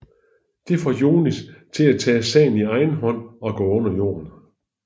Det får Younis til at tage sagen i egen hånd og gå under jorden